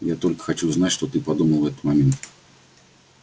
я только хочу знать что ты подумал в этот момент